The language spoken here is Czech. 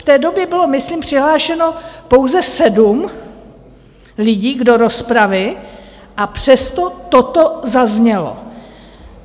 V té době bylo myslím přihlášeno pouze sedm lidí do rozpravy, a přesto toto zaznělo.